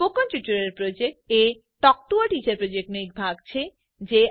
spoken tutorial project એ talk to a teacher પ્રોજેક્ટનો એક ભાગ છે